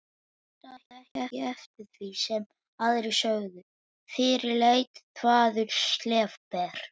Hlustaði ekki eftir því sem aðrir sögðu, fyrirleit þvaður, slefbera.